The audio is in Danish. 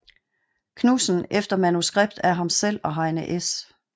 Knudsen efter manuskript af ham selv og Heine S